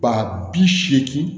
Ba bi seegin